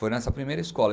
Foi nessa primeira escola.